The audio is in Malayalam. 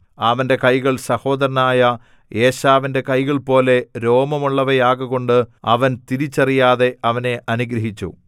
അവന്റെ കൈകൾ സഹോദരനായ ഏശാവിന്റെ കൈകൾപോലെ രോമമുള്ളവയാകകൊണ്ട് അവൻ തിരിച്ചറിയാതെ അവനെ അനുഗ്രഹിച്ചു